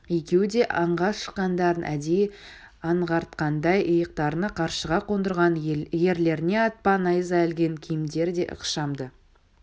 екеуі де аңға шыққандарын әдейі аңғартқандай иықтарына қаршыға қондырған ерлеріне атпа найза ілген киімдері де ықшамды